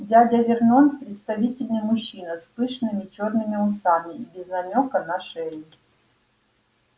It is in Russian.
дядя вернон представительный мужчина с пышными чёрными усами и без намёка на шею